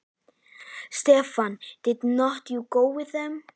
Stefan, ekki fórstu með þeim?